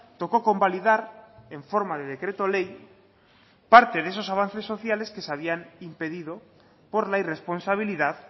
tocó convalidar en forma de decreto ley parte de esos avances sociales que se habían impedido por la irresponsabilidad